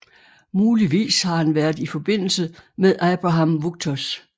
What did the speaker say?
Muligvis har han været i forbindelse med Abraham Wuchters